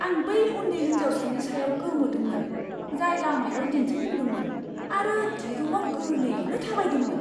आं बै उन्दै हिन्जावसानि सायाव गोमोदोंमोन, जाय लामायाव दिन्थिफुंदोंमोन आरो दिरुङाव गोरलैयै थाबायदोंमोन!